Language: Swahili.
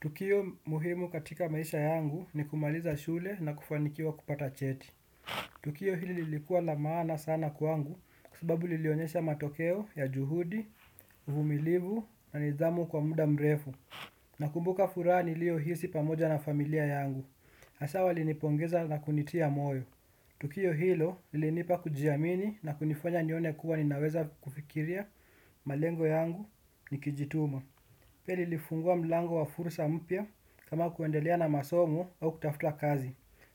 Tukio muhimu katika maisha yangu ni kumaliza shule na kufanikiwa kupata cheti. Tukio hili lilikuwa la maana sana kwangu kwa sababu lilionyesha matokeo ya juhudi, uvumilivu na nidhamu kwa muda mrefu. Nakumbuka furaha niliyo hisi pamoja na familia yangu, hasaa walinipongeza na kunitia moyo. Tukio hilo lilinipa kujiamini na kunifanya nione kuwa ninaweza kufikiria malengo yangu nikijituma. Pia lilifungua mlango wa fursa mpya kama kuendelea na masomo au kutafuta kazi.